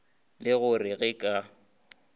le go re ga ke